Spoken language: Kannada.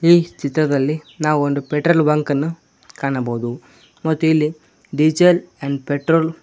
ಈ ಚಿತ್ರದಲ್ಲಿ ನಾವು ಒಂದು ಪೆಟ್ರೋಲ್ ಬಂಕ್ ಅನ್ನು ಕಾಣಬಹುದು ಮತ್ತು ಇಲ್ಲಿ ಡೀಸೆಲ್ ಅಂಡ್ ಪೆಟ್ರೋಲ್ --